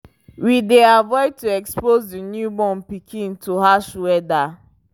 we dey avoid to expose the new born pikin to harsh weather